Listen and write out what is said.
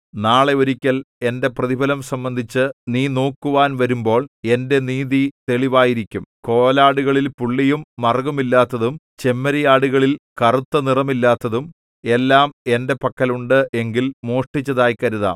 നാളെ ഒരിക്കൽ എന്റെ പ്രതിഫലം സംബന്ധിച്ച് നീ നോക്കുവാൻ വരുമ്പോൾ എന്റെ നീതി തെളിവായിരിക്കും കോലാടുകളിൽ പുള്ളിയും മറുകുമില്ലാത്തതും ചെമ്മരിയാടുകളിൽ കറുത്തനിറമില്ലാത്തതും എല്ലാം എന്റെ പക്കൽ ഉണ്ട് എങ്കിൽ മോഷ്ടിച്ചതായി കരുതാം